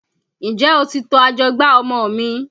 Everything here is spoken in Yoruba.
N jẹ́ o ti to ajọgbá ọmọ mi?